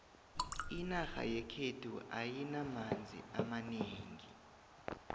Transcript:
inarha yekhethu ayinamanzi amanengi